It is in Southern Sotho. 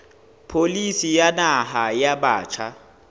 pholisi ya naha ya batjha